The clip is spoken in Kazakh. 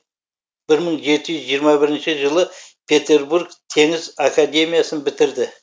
бір мың жеті жүз жиырма бірінші жылы петербург теңіз академиясын бітірді